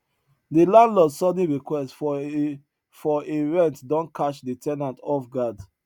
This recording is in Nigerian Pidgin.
de landlord sudden request for a for a rent don catch de ten ant off guard